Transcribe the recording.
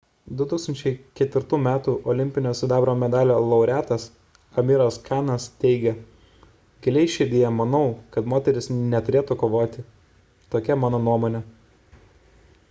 2004 m olimpinio sidabro medalio laureatas amiras kanas teigė giliai širdyje manau kad moterys neturėtų kovoti tokia mano nuomonė